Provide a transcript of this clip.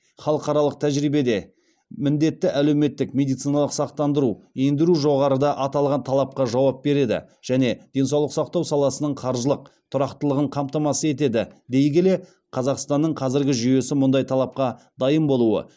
халықаралық тәжірибеде міндетті әлеуметтік медициналық сақтандыру ендіру жоғарыда аталған талапқа жауап береді және денсаулық сақтау саласының қаржылық тұрақтылығын қамтамасыз етеді дей келе қазақстанның қазіргі жүйесі мұндай талапқа дайын болуы